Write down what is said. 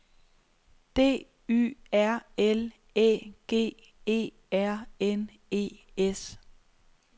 D Y R L Æ G E R N E S